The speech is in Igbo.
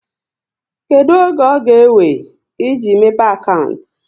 Kedụ oge ọ ga ewe, e ji mepe akantị?